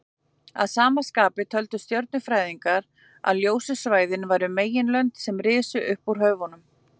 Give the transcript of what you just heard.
Að sama skapi töldu stjörnufræðingarnir að ljósu svæðin væru meginlönd sem risu upp úr höfunum.